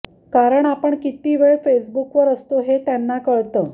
कारण आपण किती वेळ फेसबुकवर असतो ते त्यांना कळतं